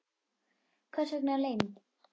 Hvers vegna leynd?